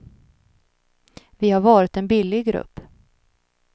Vi har varit en billig grupp.